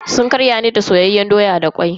Sun ƙarya ne da soyayyen doya da kwai.